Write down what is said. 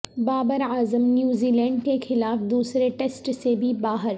Babar Azam New Zealand کے خلاف دوسرے ٹیسٹ سے بھی باہر